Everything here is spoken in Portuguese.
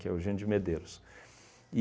Que é Eugenio de Medeiros.